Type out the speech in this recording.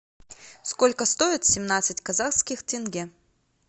сколько стоит семнадцать казахских тенге